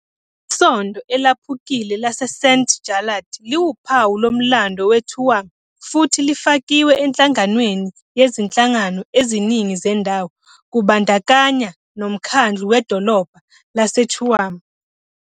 Isondo elaphukile laseSt Jarlath liwuphawu lomlando weTuam, futhi lifakiwe enhlanganweni yezinhlangano eziningi zendawo, kubandakanya noMkhandlu Wedolobha laseTuam.